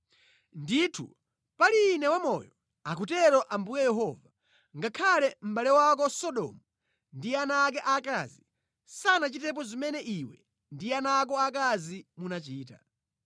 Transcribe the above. Ndithu pali Ine wamoyo, akutero Ambuye Yehova, ngakhale mʼbale wako Sodomu ndi ana ake aakazi sanachitepo zimene iwe ndi ana ako aakazi munachita.